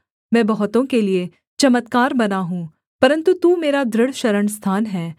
मैं बहुतों के लिये चमत्कार बना हूँ परन्तु तू मेरा दृढ़ शरणस्थान है